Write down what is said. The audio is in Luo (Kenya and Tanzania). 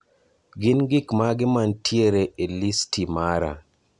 Gin gik mage mantiere e listi mara